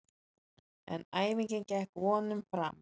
En æfingin gekk vonum framar.